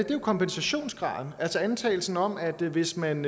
jo kompensationsgraden altså antagelsen om at hvis man